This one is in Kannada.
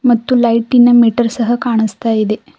ಮತ್ತು ಲೈಟಿ ನ ಮೀಟರ್ ಸಹ ಕಾಣಿಸ್ತಾ ಇದೆ.